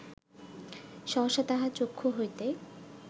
সহসা তাহার চক্ষু হইতে